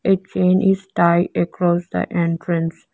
a chain is tie across the entrance.